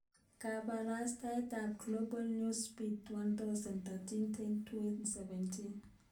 Kabarastaosyek ab Global Newsbeat 1000 31.10.2017